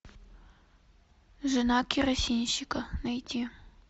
жена керосинщика найти